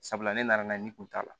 Sabula ne nana n'a ne kun t'a la